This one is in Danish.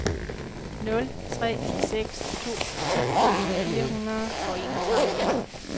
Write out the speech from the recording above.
nul tre seks to ti fire hundrede og enogtredive